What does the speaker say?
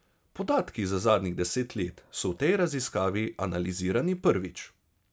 Podatki za zadnjih deset let so v tej raziskavi analizirani prvič.